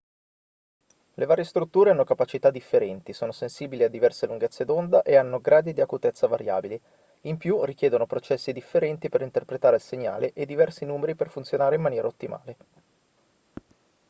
le varie strutture hanno capacità differenti sono sensibili a diverse lunghezze d'onda e hanno gradi di acutezza variabili in più richiedono processi differenti per interpretare il segnale e diversi numeri per funzionare in maniera ottimale